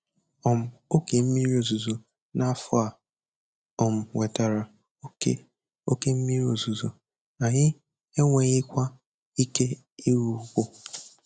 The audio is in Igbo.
um Oge mmiri ozuzo n'afọ a um wetara oke oke mmiri ozuzo, anyị enweghịkwa ike ịrụ ugbo.